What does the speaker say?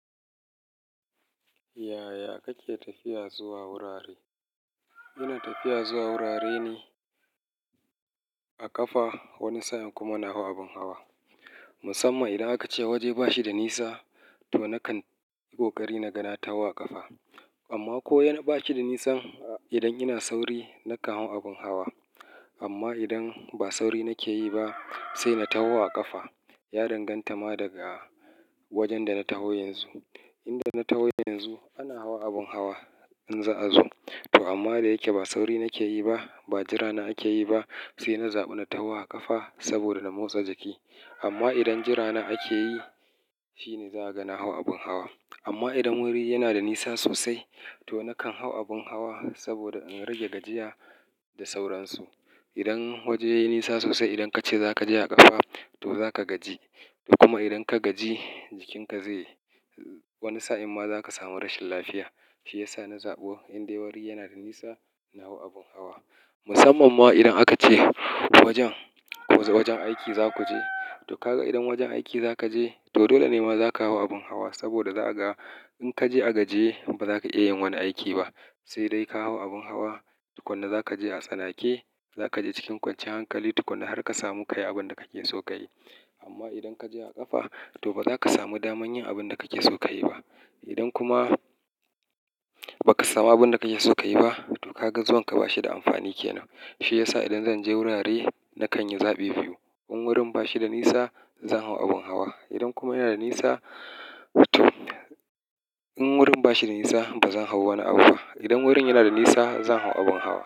Yaya kake tafiya zuwa wurare? Ina tafiya zuwa wurare ne a ƙafa, wani sa'in kuma na hau abin hawa. Musamman idan aka ce waje ba shi da nisa, to nakan yi ƙoƙari na ga na taho a ƙafa. Amma ko yana ba shi da nisa, idan ina sauri nakan hau abin hawa. Amma idan ba sauri nake yi ba, sai na taho a ƙafa. Ya danganta ma daga wajen da na taho yanzu. Inda na taho yanzu ana hau abin hawa in za'a zo. To amma da yake ba sauri nake yi ba, ba jira na ake yi ba, sai na zaɓi na taho a ƙafa saboda na motsa jiki. Amma idan jira na ake yi, shine za'a ga na hau abin hawa. Amma idan wuri yana da nisa sosai, to nakan hau abin hawa saboda in rage gajiya da sauransu. Idan waje yayi nisa sosai, idan ka ce za ka je a ƙafa to za ka gaji. To kuma idan ka gaji, jikinka zai- wani sa'in ma za ka samu rashin lafiya. Shi ya sa na zaɓo idan dai wuri yana da nisa, na hau abin hawa. Musamman ma idan aka ce wajen, wasu wajen aiki za ku je. To kaga idan wajen aiki za ka je, to dole ne ma za ka hau abin hawa saboda za'a ga idan ka je a gajiye, ba za ka iya yin wani aiki ba. Sai dai ka hau abin hawa, tukuna za ka je a tsanake, za ka je cikin kwanciyar hankali tukuna har ka samu ka yi abin da kake so ka yi. Amma idan ka je a ƙafa, to ba za ka samu daman yin abin da kake so ka yi ba. Idan kuma ba ka samu abin da kake so ka yi ba, to ka ga zuwan ka ba shi da amfani kenan. Shi ya sa idan zan je wurare nakan yi zaɓi biyu. In wurin ba shi da nisa, zan hau abin hawa. Idan kuma yana da nisa, to in wurin ba shi da nisa, ba zan hau wani abu ba. Idan wurin yana da nisa, zan hau abin hawa.